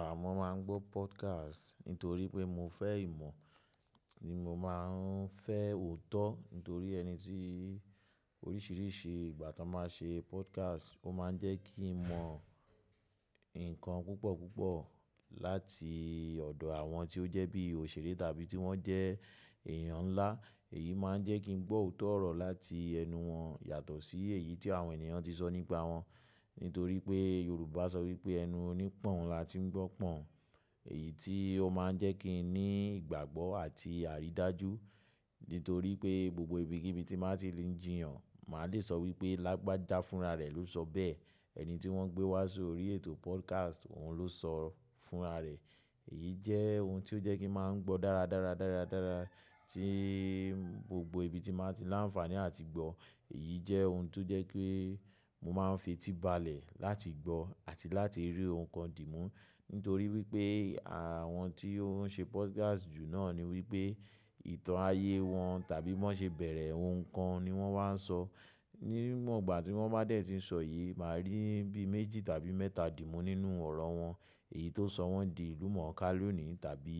Àmọ́ má n gbọ́ podcast nítorí pé mo fẹ ìmọ̀, ni mo má n fẹ òótọ́ nítorí ẹni tí orísìírísìí ìgbà tí wọ́n má n ṣe podcast, ó má n jẹ́ kí n mọ ǹkan púpọ̀ púpọ̀ láti ọ̀dọ̀ àwọn tí ó jẹ́ bí òṣèré tàbí tí wọ́n jẹ́ èèyàn ńlá. Èyí má n jẹ́ kí n gbọ́ òótọ́ ọ̀rọ̀ láti ẹnu wọn, yàtọ̀ sí èyí tí àwọn ènìyàn ti sọ nípa wọn. Nítorí pé Yorùbá sọ wípé ẹnu oní pọ̀n la ti ń gbọ́ pọ̀n. Èyí tí ó má n jẹ́ kí n ní ìgbàgbọ́ àti àrídájú. Nítorí pé gbogbo ibi kíbí tí màá ti lè jíyàn, màá le sọ wípé Lágbájá fúnra rẹ̀ ló sọ bẹ́ẹ̀. Ẹni tí wọ́n gbé wá sórí ètò podcast, òun ló sọ fúnra rẹ̀. Èyí jẹ́ ohun tí ó jẹ́ kí n má n gbọ́ dáradára dáradára tí gbogbo ibi tí màá ti lá ń fàní àti gbọ́. Èyí jẹ́ ohun tí ó jẹ́ pé mo má n fetíbalẹ̀ láti gbọ́ àti láti rí ohun kan dìmú. Nítorí wípé àwọn tí ó n ṣe podcast jù náà ni wípé ìtàn ayé wọn tàbí bọ́ n ṣe bẹ̀rẹ̀ ohun kan ni wọ́n wá n sọ. Ni mọ̀ gbà tí wọ́n bá dé tí sọ yìí, màá rí bí méjì tàbí mẹ́ta dìmú nínú ọ̀rọ̀ wọn. Èyí tó sọ wọ́n di ìlú mọ̀ọ́ká lónìí tàbí